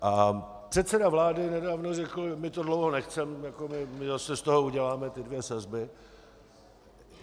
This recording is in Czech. A předseda vlády nedávno řekl: my to dlouho nechceme, my zase z toho uděláme ty dvě sazby.